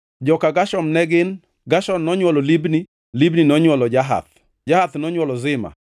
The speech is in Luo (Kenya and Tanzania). Joka Gershon ne gin: Gershon nonywolo Libni, Libni nonywolo Jahath, Jahath nonywolo Zima,